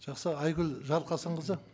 жақсы айгүл жарылқасынқызы